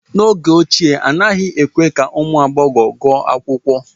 n’oge ochie, anaghị èkwé ka ụmụ agbọghọ gụọ akwụkwọ